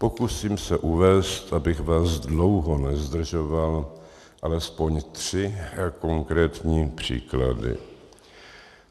Pokusím se uvést, abych vás dlouho nezdržoval, alespoň tři konkrétní příklady.